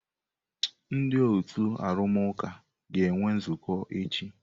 Ndị otu arụmụka ga-enwe nzukọ echi.